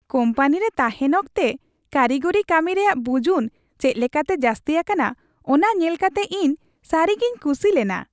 ᱠᱳᱢᱯᱟᱱᱤᱨᱮ ᱛᱟᱦᱮᱱ ᱚᱠᱛᱮ ᱠᱟᱨᱤᱜᱚᱨᱤ ᱠᱟᱹᱢᱤ ᱨᱮᱭᱟᱜ ᱵᱩᱡᱩᱱ ᱪᱮᱫ ᱞᱮᱠᱟᱛᱮ ᱡᱟᱹᱥᱛᱤ ᱟᱠᱟᱱᱟ ᱚᱱᱟ ᱧᱮᱞᱠᱟᱛᱮ ᱤᱧ ᱥᱟᱹᱨᱤᱜᱮᱧ ᱠᱩᱥᱤ ᱞᱮᱱᱟ ᱾